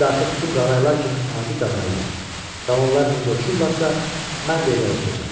İndi artıq bütün qağayılar kimi adi qağayıyam və onlar necə uçurlarsa, mən də elə uçacam.